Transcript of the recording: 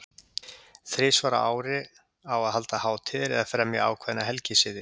Þrisvar á ári á að halda hátíðir eða fremja ákveðna helgisiði.